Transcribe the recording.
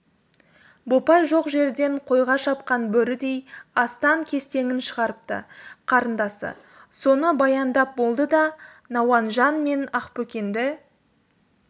бопай жоқ жерден қойға шапқан бөрідей астан-кестеңін шығарыпты қарындасы соны баяндап болды да науанжан мен ақбөкенді